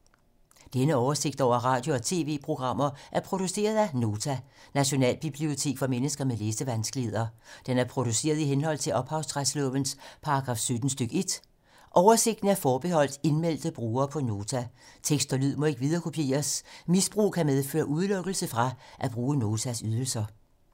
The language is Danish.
Denne oversigt over radio og TV-programmer er produceret af Nota, Nationalbibliotek for mennesker med læsevanskeligheder. Den er produceret i henhold til ophavsretslovens paragraf 17 stk. 1. Oversigten er forbeholdt indmeldte brugere på Nota. Tekst og lyd må ikke viderekopieres. Misbrug kan medføre udelukkelse fra at bruge Notas ydelser.